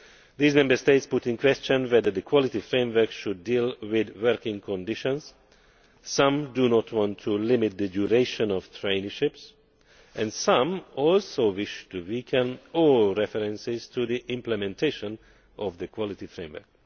These Member States put in question whether the Quality Framework should deal with working conditions. Some do not want to limit the duration of traineeships and some also wish to weaken all references to the implementation of the Quality Framework.